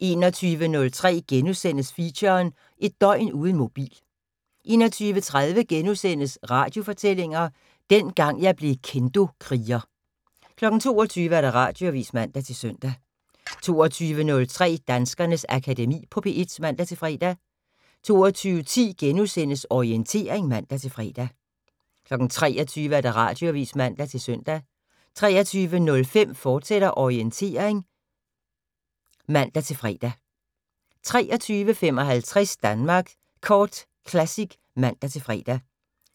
21:03: Feature: Et døgn uden mobil * 21:30: Radiofortællinger: Dengang jeg blev Kendokriger * 22:00: Radioavis (man-søn) 22:03: Danskernes Akademi på P1 (man-fre) 22:10: Orientering *(man-fre) 23:00: Radioavis (man-søn) 23:05: Orientering, fortsat (man-fre) 23:55: Danmark Kort Classic (man-fre)